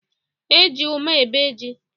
E ji ụma ébé ji